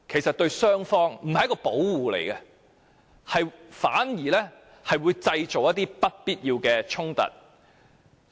這對雙方非但不是一種保護，反而會製造不必要的衝突。